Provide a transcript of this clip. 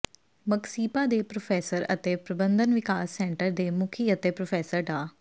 ਮਗਸੀਪਾ ਦੇ ਪ੍ਰੋਫੈਸਰ ਅਤੇ ਪ੍ਰਬੰਧਨ ਵਿਕਾਸ ਸੈਂਟਰ ਦੇ ਮੁਖੀ ਅਤੇ ਪ੍ਰੋਫੈਸਰ ਡਾ